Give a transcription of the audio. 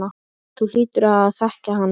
Þú hlýtur að þekkja hann.